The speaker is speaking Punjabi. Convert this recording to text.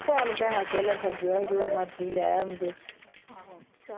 ਠੀਕ ਚਲ ਭੈਣਾ ਜੋ ਮਰਜੀ ਲੈ ਆਉਣ ਦੇ।